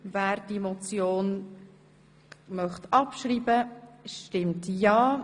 Wer diese Motion abschreiben möchte, stimmt ja,